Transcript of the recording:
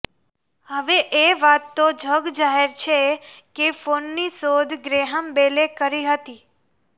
હવે એ વાત તો જગજાહેર છે કે ફોનની શોધ ગ્રેહામ બેલે કરી હતી